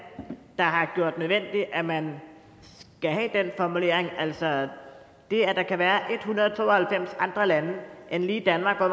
der har gjort det nødvendigt at man skal have den formulering altså det at der kan være en hundrede og to og halvfems andre lande end lige danmark hvor